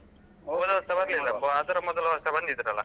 ಹೋದ ವರ್ಷ ಬರ್ಲಿಲ್ಲಪ್ಪ, ಅದರ ಮೊದಲ ವರ್ಷ ಬಂದಿದ್ರಲ್ಲ?